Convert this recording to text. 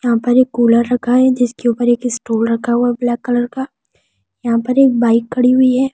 यहां पर एक कूलर रखा है जिसके ऊपर एक स्टूल रखा हुआ है ब्लैक कलर का यहां पर एक बाइक खड़ी हुई है।